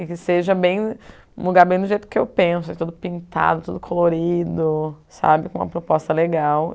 e que seja bem um lugar bem do jeito que eu penso, tudo pintado, tudo colorido sabe, com uma proposta legal.